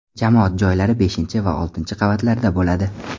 Jamoat joylari beshinchi va oltinchi qavatlarda bo‘ladi.